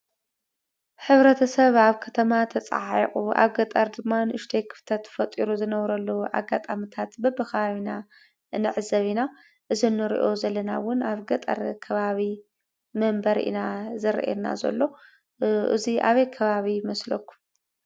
ሕብረተሰብ ኣብ ከተማ ተፀዓዒቁ ኣብ ገጠር ድማ ንእሽተይ ክፍተት ፈጢሩ ዝነብረሉ አጋጣምታት በብከባቢና ንዕዘብ ኢና። እዚ ንርኦ ዘለና እውን አብ ገጠር ከባቢ መንበሪ ኢና ዘርእየና ዘሎ። እዚ አበይ ከባቢ ይመስለኩም?